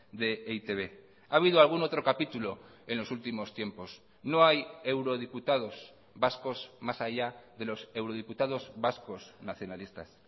de e i te be ha habido algún otro capítulo en los últimos tiempos no hay eurodiputados vascos más allá de los eurodiputados vascos nacionalistas